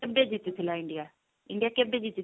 କେବେ ଜିତିଥିଲା india? india କେବେ ଜିତି ଥିଲା